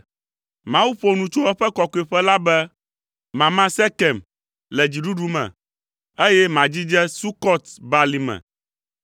Mawu ƒo nu tso eƒe kɔkɔeƒe la be, “Mama Sekem le dziɖuɖu me, eye madzidze Sukɔt Balime.